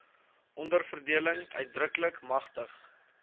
onderverdeling uitdruklik magtig